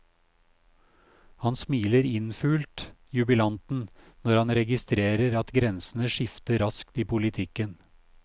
Han smiler innfult, jubilanten, når han registrerer at grensene skifter raskt i politikken.